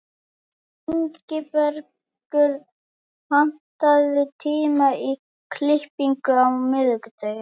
Ingibergur, pantaðu tíma í klippingu á miðvikudaginn.